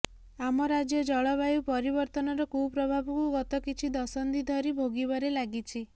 ଆମ ରାଜ୍ୟ ଜଳବାୟୁ ପରିବର୍ତ୍ତନର କୁପ୍ରଭାବକୁ ଗତ କିଛି ଦଶନ୍ଧିଧରି ଭୋଗିବାରେ ଲାଗିଛି